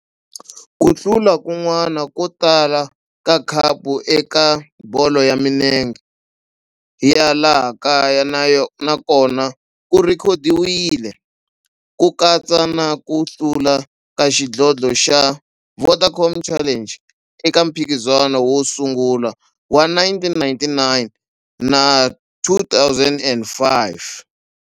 Ku hlula kun'wana ko tala ka khapu eka bolo ya minenge ya laha kaya na kona ku rhekhodiwile, ku katsa na ku hlula ka xidlodlo xa Vodacom Challenge eka mphikizano wo sungula wa 1999 na 2005.